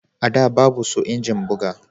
A da babu su injin buga